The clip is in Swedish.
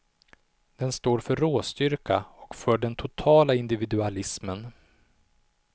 Den står för råstyrka och för den totala individualismen.